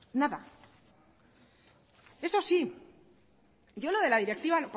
nada eso sí yo lo de la directiva